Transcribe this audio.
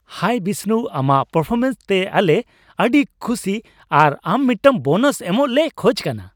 ᱦᱟᱭ ᱵᱤᱥᱱᱩ, ᱟᱢᱟᱜ ᱯᱟᱨᱯᱷᱳᱨᱚᱢᱮᱱᱥ ᱛᱮ ᱟᱞᱮ ᱟᱹᱰᱤ ᱠᱷᱩᱥᱤ ᱟᱨ ᱟᱢ ᱢᱤᱫᱴᱟᱝ ᱵᱳᱱᱟᱥ ᱮᱢᱚᱜ ᱞᱮ ᱠᱷᱚᱡ ᱠᱟᱱᱟ ᱾